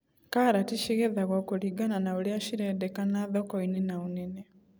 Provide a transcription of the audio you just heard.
Karati cigethagwo kũringana na ũrĩa cirendekana thokoinĩ na ũnene.